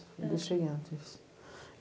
Eu deixei antes.